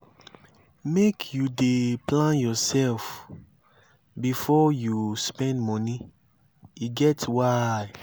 make you dey plan yoursef before you spend moni e get why.